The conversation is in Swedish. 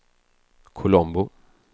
Colombo